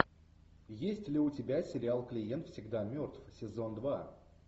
есть ли у тебя сериал клиент всегда мертв сезон два